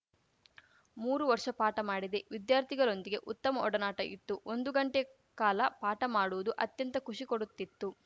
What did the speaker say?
ಮೂರು ವರ್ಷ ಪಾಠ ಮಾಡಿದೆ ವಿದ್ಯಾರ್ಥಿಗಳೊಂದಿಗೆ ಉತ್ತಮ ಒಡನಾಟ ಇತ್ತು ಒಂದು ಗಂಟೆಯ ಕಾಲ ಪಾಠ ಮಾಡುವುದು ಅತ್ಯಂತ ಖುಷಿ ಕೊಡುತ್ತಿತ್ತು